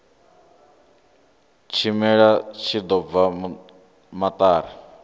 tshimela tshi ḓo bva maṱari